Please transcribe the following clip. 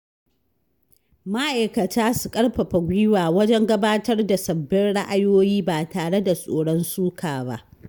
Ma’aikata su ƙarfafa gwiwa wajen gabatar da sabbin ra’ayoyi ba tare da tsoron suka ba.